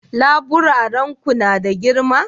laburaren Ku na da girma?